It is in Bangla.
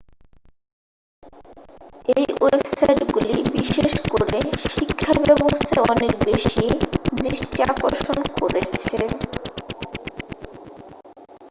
এই ওয়েবসাইটগুলি বিশেষ করে শিক্ষাব্যবস্থায় অনেক বেশি দৃষ্টি আকর্ষণ করেছে